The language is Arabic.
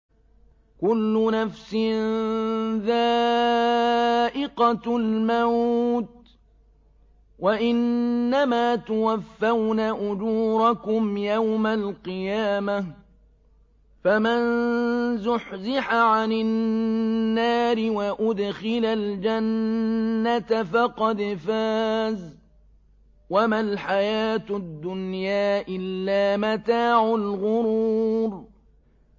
كُلُّ نَفْسٍ ذَائِقَةُ الْمَوْتِ ۗ وَإِنَّمَا تُوَفَّوْنَ أُجُورَكُمْ يَوْمَ الْقِيَامَةِ ۖ فَمَن زُحْزِحَ عَنِ النَّارِ وَأُدْخِلَ الْجَنَّةَ فَقَدْ فَازَ ۗ وَمَا الْحَيَاةُ الدُّنْيَا إِلَّا مَتَاعُ الْغُرُورِ